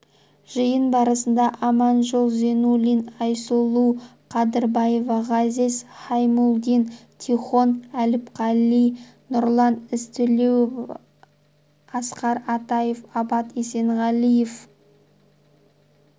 жиын барысында аманжол зинуллин айсұлу қадырбаева ғазиз хаймулдин тихон әліпқали нұрлан ізтілеуов асқар атаев абат есенғалиев